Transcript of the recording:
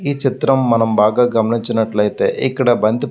ఈ చిత్రం మనం బాగా గమనించినట్లైతే ఇక్కడ బంతి --